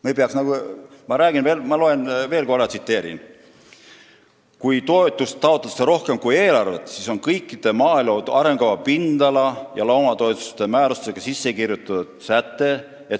Ma loen veel kord ette: "Kui toetuste taotlusi on rohkem kui eelarves raha, siis vähendatakse toetuse ühikumäärasid – see on kõikide maaelu arengukava pindala- ja loomatoetuste määrustesse sisse kirjutatud säte.